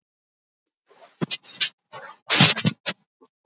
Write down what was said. Hvað eru þið lengi að undirbúa ykkur?